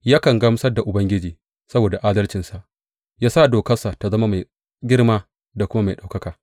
Yakan gamsar da Ubangiji saboda adalcinsa ya sa dokarsa ta zama mai girma da kuma mai ɗaukaka.